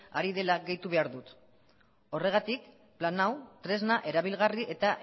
ari dela gehitu behar dut horregatik plan hau tresna erabilgarri eta